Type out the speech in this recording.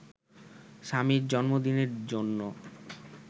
স্বামীর জন্মদিনের জন্য